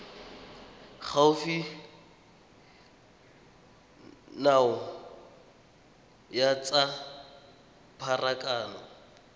gaufi nao ya tsa pharakano